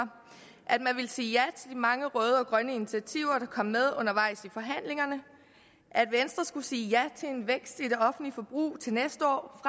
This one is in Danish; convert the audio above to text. at man ville sige ja til mange røde og grønne initiativer der kom med undervejs i forhandlingerne at venstre skulle sige ja til en vækst i det offentlige forbrug til næste år